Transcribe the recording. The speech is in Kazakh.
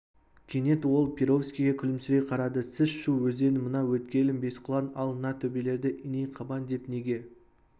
кенет ол перовскийге күлімсірей қарады сіз шу өзенінің мына өткелін бесқұлан ал мына төбелерді иней қабан деп неге